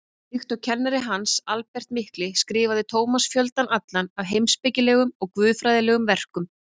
Líkt og kennari hans, Albert mikli, skrifaði Tómas fjöldann allan af heimspekilegum og guðfræðilegum verkum.